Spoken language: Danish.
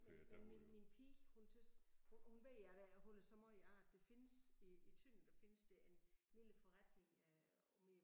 Men men min min pige hun tys hun ved at jeg holder så meget af at det findes i i Tønder der findes der en lille forretning øh omme i